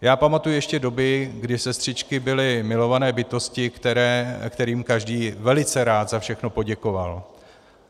Já pamatuji ještě doby, kdy sestřičky byly milované bytosti, kterým každý velice rád za všechno poděkoval.